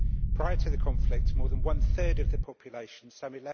Prior to the conflict, more than one third of the population some